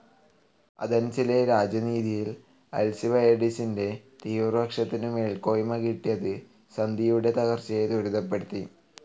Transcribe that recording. ആഥൻസിലെ രാജനീതിയിൽ അൽസിബയഡിസിന്റെ തീവ്രപക്ഷത്തിനു മേൽക്കോയ്മ കിട്ടിയത് സന്ധിയുടെ തകർച്ചയെ ത്വരിതപ്പെടുത്തി.